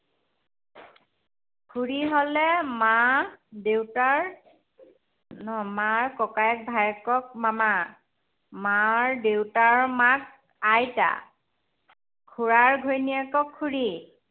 খুড়ী হলে মা দেউতাৰ নহয় মাৰ ককায়েক ভায়েকক মামা। মাৰ দেউতাৰ মাক আইতা। খুড়াৰ ঘৈণীয়েকক খুড়ী।